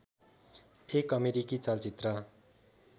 एक अमेरिकी चलचित्र